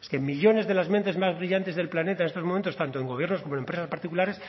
es que millónes de las mentes más brillantes del planeta en estos momentos tanto en gobiernos como en empresas particulares